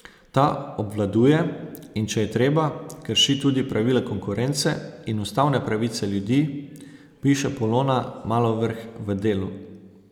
Ta obvladuje, in če je treba, krši tudi pravila konkurence in ustavne pravice ljudi, piše Polona Malovrh v Delu.